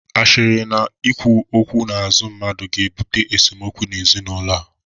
Ashịrị na ikwu okwu n'azụ mmadụ ga-ebute esemokwu n'ezinaụlọ a